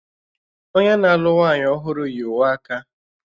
Onye na-alụ nwanyị ọhụrụ yi uwe aka